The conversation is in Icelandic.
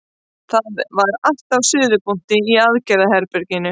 Það var allt á suðupunkti í aðgerðaherberginu.